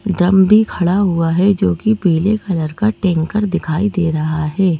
Drum भी खड़ा हुआ है जो कि पीले कलर का टैंकर दिखाई दे रहा है।